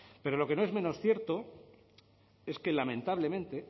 pero lo que no es menos cierto es que lamentablemente